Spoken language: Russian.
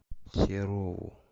серову